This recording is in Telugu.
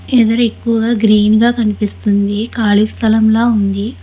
ఎదరెక్కువగా గ్రీన్ గా కనిపిస్తుంది ఖాలీ స్థలం లా ఉంది.